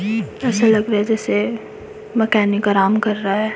ऐसा लग रहा है जैसे मैकेनिक आराम कर रहा है।